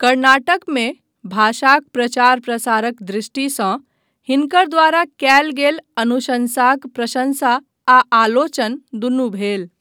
कर्नाटकमे भाषाक प्रचार प्रसारक दृष्टिसँ हिनकर द्वारा कयल गेल अनुशन्साक प्रशँसा आ आलोचना दुनू भेल।